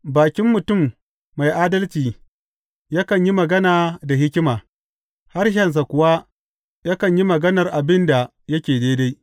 Bakin mutum mai adalci yakan yi magana da hikima, harshensa kuwa yakan yi maganar abin da yake daidai.